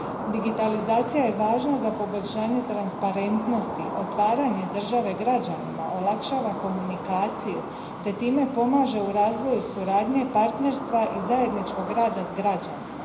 Digitalizacija je važna za poboljšanje transparentnosti, otvaranje države građanima, olakšava komunikaciju te time pomaže u razvoju suradnje, partnerstva i zajedničkog rada s građanima.